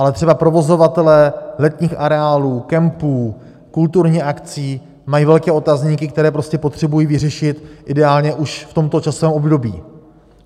Ale třeba provozovatelé letních areálů, kempů, kulturních akcí mají velké otazníky, které prostě potřebují vyřešit ideálně už v tomto časovém období.